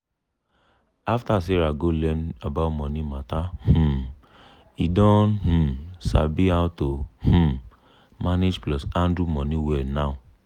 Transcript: after sarah go learn about money matter um e don um sabi how to um manage plus handle money well now.